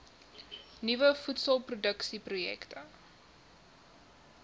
nuwe voedselproduksie projekte